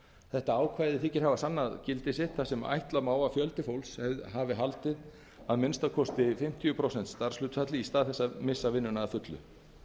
þetta ákvæði þykir hafa sannað gildi sitt þar sem ætla má að fjöldi fólks hafi haldið að minnsta kosti fimmtíu prósent starfshlutfalli í stað þess að missa vinnuna að fullu